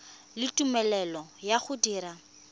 le tumelelo ya go dira